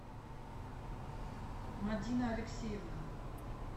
мадина алексеевна